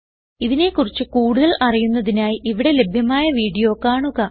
ഇതിനെ കുറിച്ച് കൂടുതൽ അറിയുന്നതിനായി ഇവിടെ ലഭ്യമായ വീഡിയോ കാണുക